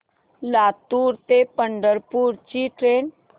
लातूर ते पंढरपूर ची ट्रेन